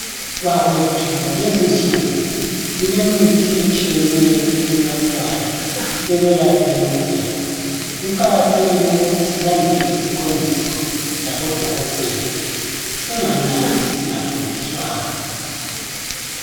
Bakwethu ngalezinsuku kulemithi etshiyeneyo enathwayo ekwelapheni uphepha kuqakathekile ukuthi silandele iziqondiso zabodokotela singanathi singaqondiswanga.